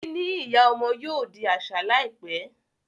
níní ìyá ọmọ yóò di aṣa láìpé.